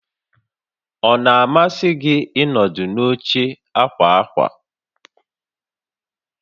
Ọ na-amasị gị ịnọdụ n'oche ákwà ákwà?